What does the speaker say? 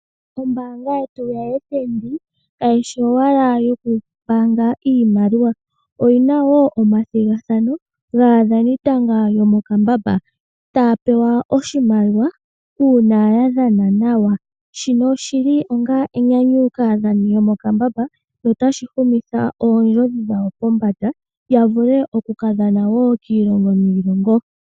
Oombaanga yetu ya fnb kaishi owala yokumbaanga iimaliwa oyina woo omathigathano gaadhanitanga yomokambamba, taapewa oshimaliwa uuna yadhana nawa Shinobu oshili onga enyanyu kaadhanitanga yomokambamba sho otashi shunitha oondjodhi yawo pombanda yafule woo okukadhana kiilongo niilongo